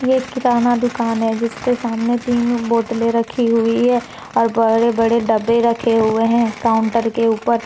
यह किराना दुकान है जिसके सामने तीन बोतलें रखी हुई है और बड़े बड़े डब्बे रखे हुए हैं काउंटर के ऊपर।